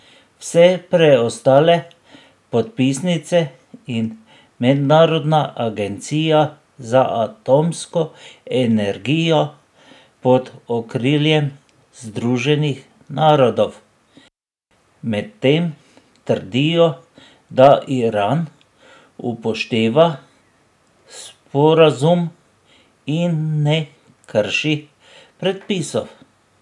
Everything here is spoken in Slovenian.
Vse preostale podpisnice in Mednarodna agencija za atomsko energijo pod okriljem Združenih narodov medtem trdijo, da Iran upošteva sporazum in ne krši predpisov.